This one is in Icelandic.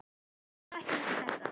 Ég náði ekki upp í þetta.